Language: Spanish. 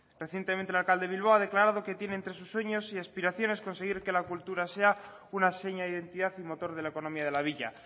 recientemente el alcalde de bilbao a declarado que tiene entre sus sueños y aspiraciones conseguir que la cultura sea una seña de identidad y motor de la economía de la villa